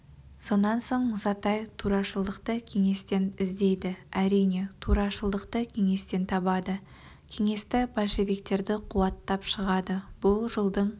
сонан соң мұсатай турашылықты кеңестен іздейді әрине турашылықты кеңестен табады кеңесті большевиктерді қуаттап шығады бұл жылдың